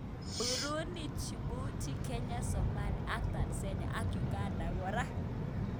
Burundi, Djibouti, kenya, somalia ak Tanzania ak uganda kora